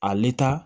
Ale ta